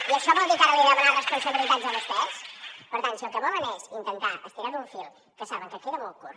i això vol dir que ara els hi he de demanar responsabilitats a vostès per tant si el que volen és intentar estirar un fil que saben que queda molt curt